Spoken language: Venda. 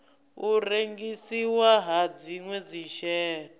u rengisiwa ha dzinwe dzishere